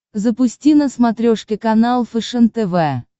запусти на смотрешке канал фэшен тв